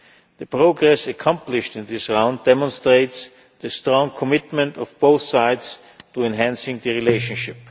The progress accomplished in this round demonstrates the strong commitment of both sides to enhancing the relationship.